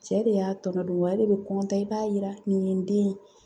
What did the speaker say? Cɛ de y'a tɔnɔ don wa ale bɛ i b'a yira nin ye n den ye